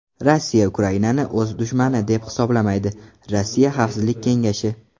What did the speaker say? Rossiya Ukrainani o‘z dushmani deb hisoblamaydi Rossiya Xavfsizlik kengashi.